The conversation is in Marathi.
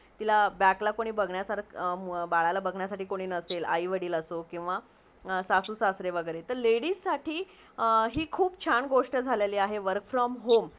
तिला बॅक ला कुणी बघण्यासारख नसेल , मुलाला , बलाला बघण्यासाठी कुणी नसेल आई - वडिल असो किवा सासुस - सासरे किवा ladies साठी ही खुप छान गोष्टी झालेली आहे work from home